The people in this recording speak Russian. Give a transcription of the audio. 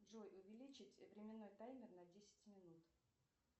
джой увеличить временной таймер на десять минут